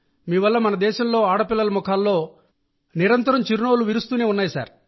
మీ వల్ల దేశంలోని ఆడపిల్లల ముఖాల్లో చిరునవ్వులు నిరంతరం పెరుగుతూనే ఉన్నాయి